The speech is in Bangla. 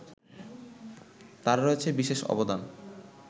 তার রয়েছে বিশেষ অবদান